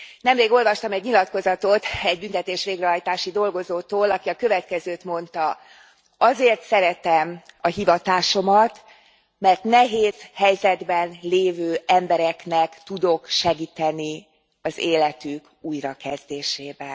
Nemrég olvastam egy nyilatkozatot egy büntetés végrehajtási dolgozótól, aki a következőt mondta azért szeretem a hivatásomat, mert nehéz helyzetben lévő embereknek tudok segíteni az életük újrakezdésében.